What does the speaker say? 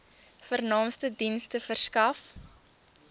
vernaamste dienste verskaf